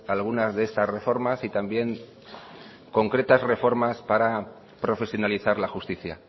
algunas de estas reformas y también concretas reformas para profesionalizar la justicia